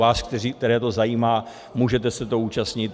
Vy, které to zajímá, můžete se toho účastnit.